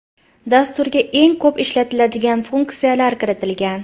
Dasturga eng ko‘p ishlatiladigan funksiyalar kiritilgan.